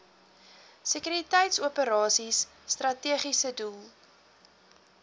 sekuriteitsoperasies strategiese doel